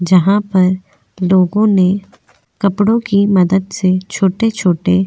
जहां पर लोगों ने कपड़ों की मदद से छोटे-छोटे --